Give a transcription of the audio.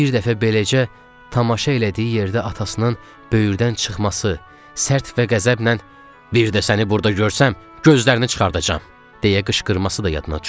Bir dəfə beləcə tamaşa elədiyi yerdə atasının böyürdən çıxması, sərt və qəzəblə "bir də səni burda görsəm, gözlərini çıxardacam" deyə qışqırması da yadına düşdü.